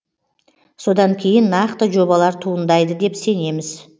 содан кейін нақты жобалар туындайды деп сенеміз